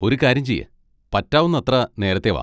ഒരുകാര്യം ചെയ്യ്, പറ്റാവുന്നത്ര നേരത്തെ വാ.